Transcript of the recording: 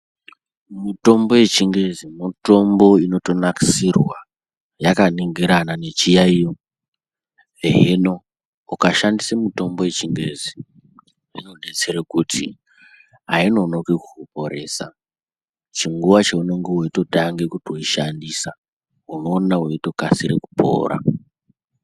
Mutombo yechingezi mutombo inotonakisirwa yakaningirana nechiyaiyo hino ukashandise mutombo yechingezi inodetsere kuti ainonoki kukuporesa chinguwa cheunenge weitotange kuishandisa unoona weitokadire kupora.